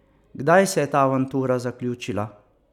Kdaj se je ta avantura zaključila?